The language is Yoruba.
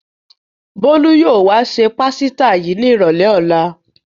Bólú yóò wá se pásítà yìí ní ìrọ́lẹ́ ọ̀la.